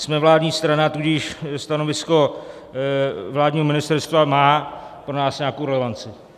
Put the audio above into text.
Jsme vládní strana, tudíž stanovisko vládního ministerstva má pro nás nějakou relevanci.